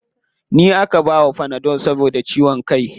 Ni aka bawa fanadol saboda ciwon kai.